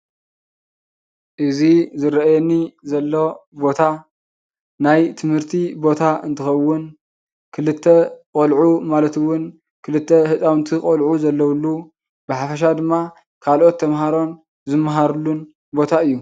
እዚ ዝርአየኒ ዘሎ ቦታ ናይ ትምህርቲ ቦታ እንትኸዉን ክልተ ቆልዑ ማለት እዉን ክልተ ህፃዉንቲ ቆልዑ ዘለዉሉ ብሓፈሻ ድማ ካልኦት ተምሃሮን ዝምሃሩሉን ቦታ እዩ።